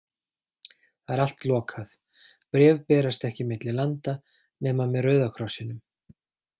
Það er allt lokað, bréf berast ekki milli landa nema með Rauða krossinum.